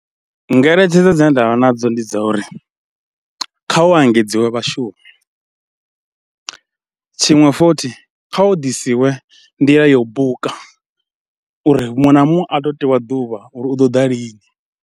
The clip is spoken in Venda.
Ngeletshedzo dzine ndanvha nadzo ndi dza uri kha u engedziwa vhashumi, tshiṅwe futhi, kha hu ḓisiwe nḓila ya u buka uri muṅwe na muṅwe a tou tewa ḓuvha uri u ḓo ḓa lini.